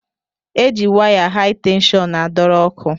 E ji waya hai tenshọn a dọrọ ọkụ.